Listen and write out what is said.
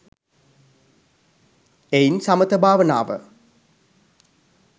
එයින් සමථ භාවනාව